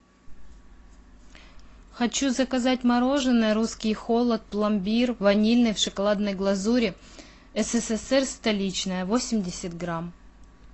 хочу заказать мороженое русский холод пломбир ванильное в шоколадной глазури ссср столичное восемьдесят грамм